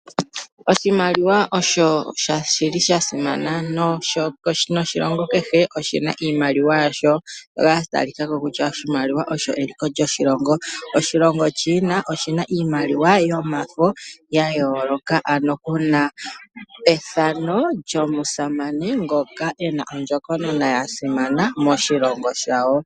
Oshimaliwa osho shili shasimana na kehe oshilongo oshina iimaliwa yasho, na oshimaliwa osho eliko lyoshilongo ngaashi oshilongo sha China oshina iimaliwa yomafo yayooloka ano kuna ethano lyomusamane ngoka ena ondjokonona yasimana moshilongo shawo.